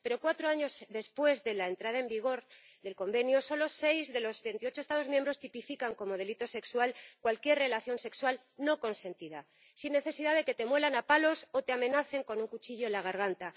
Pero cuatro años después de la entrada en vigor del Convenio, solo seis de los veintiocho Estados miembros tipifican como delito sexual cualquier relación sexual no consentida sin necesidad de que te muelen a palos o te amenacen con un cuchillo en la garganta.